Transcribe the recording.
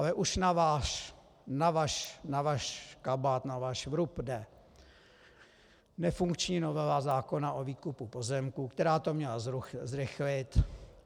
Ale už na váš kabát, na váš vrub jde nefunkční novela zákona o výkupu pozemků, která to měla zrychlit.